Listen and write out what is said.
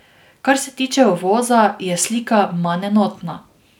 Kar se tiče uvoza, je slika manj enotna.